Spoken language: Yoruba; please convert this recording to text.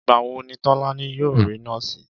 Ìgbà wo ni Tólání yóò rí nóòsì